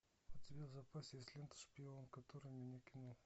у тебя в запасе есть лента шпион который меня кинул